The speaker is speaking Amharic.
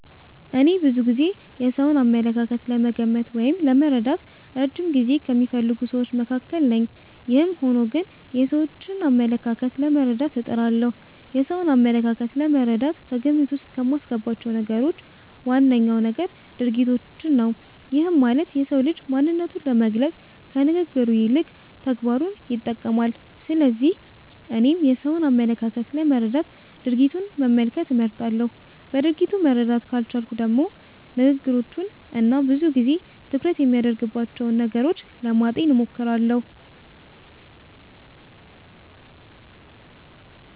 እኔ ብዙ ጊዜ የሰውን አመለካከት ለመገመት ወይም ለመረዳት እረጅም ጊዜ ከሚፈልጉ ስዎች መካከል ነኝ። ይህም ሆኖ ግን የሰዎችን አመለካከት ለመረዳት እጥራለሁ። የሰውን አመለካከት ለመረዳት ከግምት ዉስጥ ከማስገባቸው ነገሮች ዋነኛው ነገር ድርጊቶችን ነው። ይህም ማለት የሰው ልጅ ማንነቱን ለመግለፅ ከንግግሩ ይልቅ ተግባሩን ይጠቀማል። ስለዚህ እኔም የሰውን አመለካከት ለመረዳት ድርጊቱን መመልከት እመርጣለሁ። በድርጊቱ መረዳት ካልቻልኩም ደግሞ ንግግሮቹን እና ብዙ ጊዜ ትኩረት የሚያደርግባቸውን ነገሮች ለማጤን እሞክራለሁ።